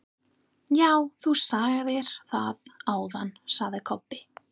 Já, þú sagðir það áðan, sagði Kobbi.